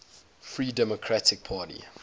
free democratic party